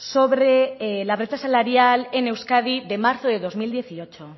sobre la brecha salarial en euskadi de marzo del dos mil dieciocho